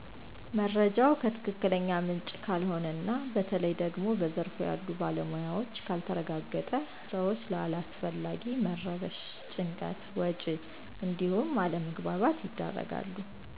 መረጃው ከትክክለኛ ምንጭ ካልሆነ እና በተለይ ደግሞ በዘርፉ ያሉ ባለሞያዎች ካልተረጋገጠ ሰወች ለአላስፈላጊ መረበሽ፣ ጭንቀት፣ ወጭ እንዲሁም አለመግባባት ይዳረጋሉ።